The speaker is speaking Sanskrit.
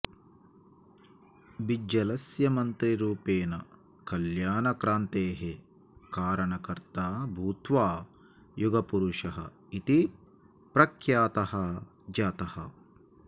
बिज्जलस्य मन्त्रिरूपेण कल्याणक्रान्तेः कारणकर्ता भूत्वा युगपुरुषः इति प्रख्यातः जातः